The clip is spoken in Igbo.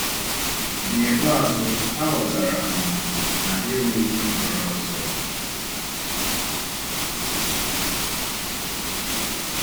N’ikpeazụ, ha ghọtara um na ha enweghị nhọrọ ọzọ.